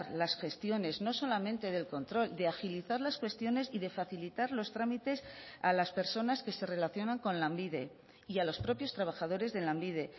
las gestiones no solamente del control de agilizar las cuestiones y de facilitar los trámites a las personas que se relacionan con lanbide y a los propios trabajadores de lanbide